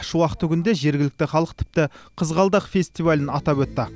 шуақты күнде жергілікті халық тіпті қызғалдақ фестивалін атап өтті